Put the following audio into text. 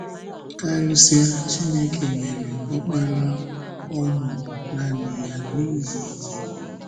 Kárịsịa, Chineke “nyere Ọkpara ọ mụrụ nanị ya” n’ihi gị.